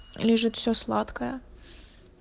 лежит все сладкое